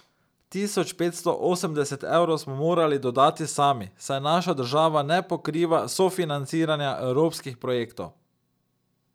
Tisoč petsto osemdeset evrov smo morali dodati sami, saj naša država ne pokriva sofinanciranja evropskih projektov.